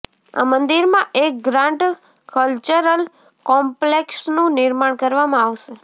આ મંદિરમાં એક ગ્રાન્ડ કલ્ચરલ કોમ્પલેક્ષનું નિર્માણ કરવામાં આવશે